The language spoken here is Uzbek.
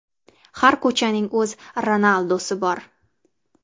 Har ko‘chaning o‘z Ronaldusi bor!